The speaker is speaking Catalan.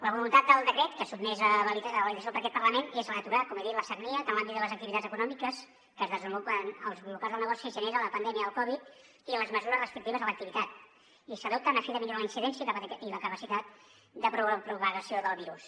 la voluntat del decret que es sotmet a validació per aquest parlament és la d’aturar com he dit la sagnia que en l’àmbit de les activitats econòmiques que es desenvolupen als locals de negoci genera la pandèmia de la covid i les mesures restrictives a l’activitat i s’adopten a fi de millorar la incidència i la capacitat de propagació del virus